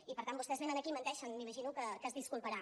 i per tant vostès venen aquí menteixen m’imagino que es disculparà